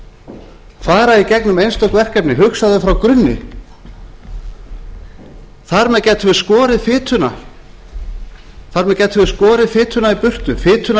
og fara í gegnum einstök verkefni hugsa þau frá grunni þar með gætum við skorið fituna í burtu fituna